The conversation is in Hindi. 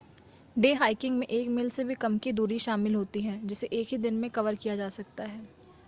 डे हाइकिंग में एक मील से भी कम की दूरी शामिल होती है जिसे एक ही दिन में कवर किया जा सकता है